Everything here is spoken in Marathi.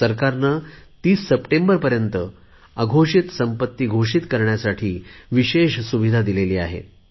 सरकारने 30 सप्टेंबरपर्यंत अघोषित संपत्ती घोषित करण्यासाठी विशेष सुविधा दिली आहे